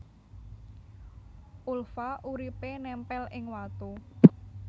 Ulva uripé némpél ing watu